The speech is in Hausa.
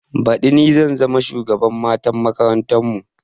Baɗi ni zan zama shugaban matan makarantar mu